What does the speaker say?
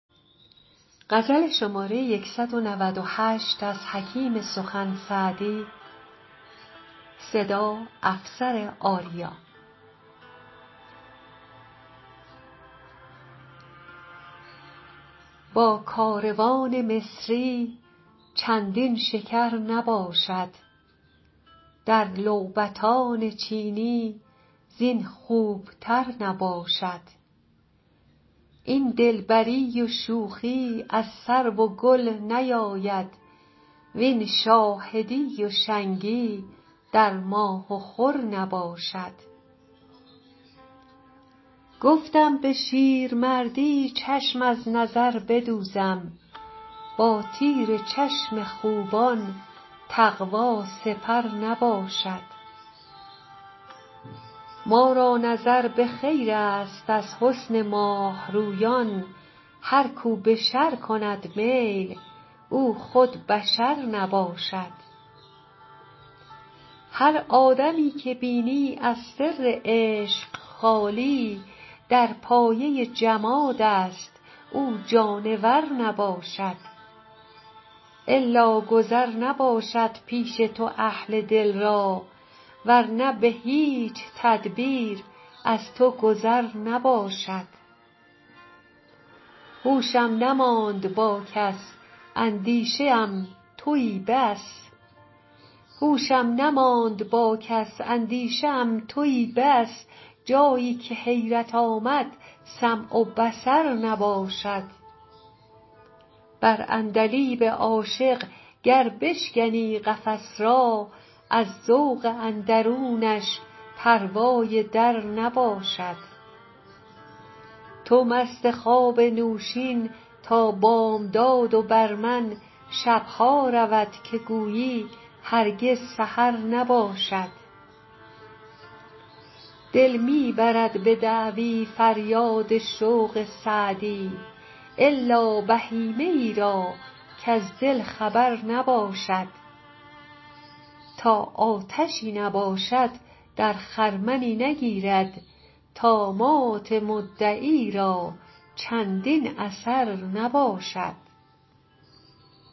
با کاروان مصری چندین شکر نباشد در لعبتان چینی زین خوبتر نباشد این دلبری و شوخی از سرو و گل نیاید وین شاهدی و شنگی در ماه و خور نباشد گفتم به شیرمردی چشم از نظر بدوزم با تیر چشم خوبان تقوا سپر نباشد ما را نظر به خیرست از حسن ماه رویان هر کو به شر کند میل او خود بشر نباشد هر آدمی که بینی از سر عشق خالی در پایه جمادست او جانور نباشد الا گذر نباشد پیش تو اهل دل را ور نه به هیچ تدبیر از تو گذر نباشد هوشم نماند با کس اندیشه ام تویی بس جایی که حیرت آمد سمع و بصر نباشد بر عندلیب عاشق گر بشکنی قفس را از ذوق اندرونش پروای در نباشد تو مست خواب نوشین تا بامداد و بر من شب ها رود که گویی هرگز سحر نباشد دل می برد به دعوی فریاد شوق سعدی الا بهیمه ای را کز دل خبر نباشد تا آتشی نباشد در خرمنی نگیرد طامات مدعی را چندین اثر نباشد